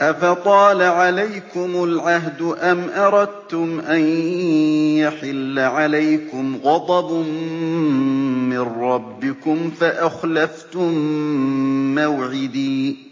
أَفَطَالَ عَلَيْكُمُ الْعَهْدُ أَمْ أَرَدتُّمْ أَن يَحِلَّ عَلَيْكُمْ غَضَبٌ مِّن رَّبِّكُمْ فَأَخْلَفْتُم مَّوْعِدِي